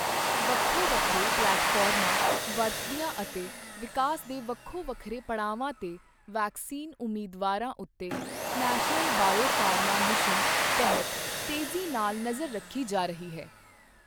ਵੱਖੋ ਵੱਖਰੇ ਪਲੈਟਫ਼ਾਰਮਾਂ ਵਰਤਦਿਆਂ ਅਤੇ ਵਿਕਾਸ ਦੇ ਵੱਖੋ ਵੱਖਰੇ ਪੜਾਵਾਂ ਤੇ ਵੈਕਸੀਨ ਉਮੀਦਵਾਰਾਂ ਉੱਤੇ ਨੈਸ਼ਨਲ ਬਾਇਓਫ਼ਾਰਮਾ ਮਿਸ਼ਨ ਤਹਿਤ ਤੇਜ਼ੀ ਨਾਲ ਨਜ਼ਰ ਰੱਖੀ ਜਾ ਰਹੀ ਹੈ।